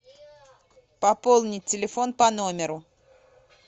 пополнить телефон по номеру